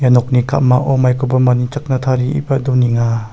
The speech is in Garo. ia nokni ka·mao maikoba manichakna tarieba donenga.